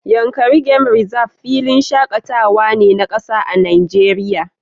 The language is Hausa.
Yankari game Reserve filin shakatawa ne na kasa a Najeriya